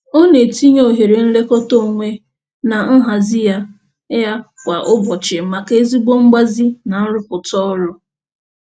Ọ na-etinye ohere nlekọta onwe na nhazị ya ya kwa ụbọchị maka ezigbo mgbazi na nrụpụta ọrụ.